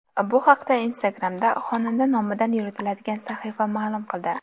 Bu haqda Instagram’da xonanda nomidan yuritiladigan sahifa ma’lum qildi .